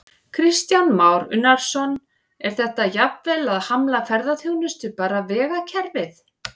Kristján Már Unnarsson: Er þetta jafnvel að hamla ferðaþjónustu, bara vegakerfið?